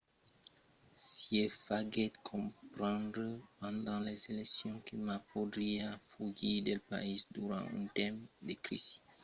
hsieh faguèt comprendre pendent las eleccions que ma podriá fugir del país durant un temps de crisi